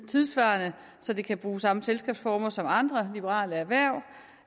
tidssvarende så de kan bruge samme selskabsformer som andre liberale erhverv